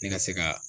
Ne ka se ka